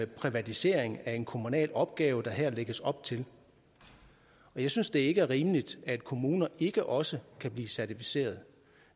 privatisering af en kommunal opgave der her lægges op til jeg synes ikke det er rimeligt at kommuner ikke også kan blive certificerede